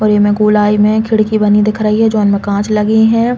और इमे गोलाई में खिड़की बनी दिख रही है जोन में कांच लगे हैं।